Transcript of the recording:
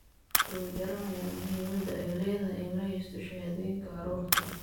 Dadku way garanayaan muhiimadda ay leedahay in la haysto shahaadooyinka carruurta.